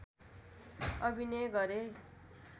अभिनय गरे